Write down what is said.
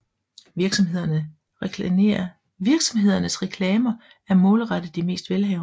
Virksomhedernes reklamer er målrettet de mest velhavende